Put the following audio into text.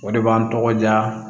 O de b'an tɔgɔ diya